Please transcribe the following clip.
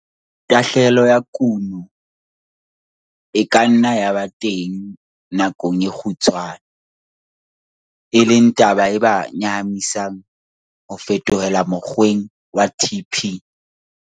Tahlehelo ya kuno e ka nna ya ba teng nakong e kgutshwane, e leng taba e ba nyahamisang ho fetohela mokgweng wa TP.